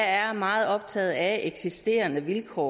er meget optaget af de eksisterende vilkår